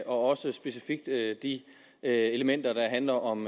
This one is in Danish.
også specifikt de elementer der handler om